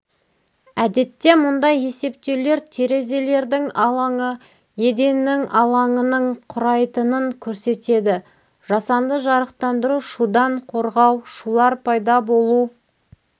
әдетте мұндай есептеулер терезелердің алаңы еденнің алаңының құрайтынын көрсетеді жасанды жарықтандыру шудан қорғау шулар пайда болу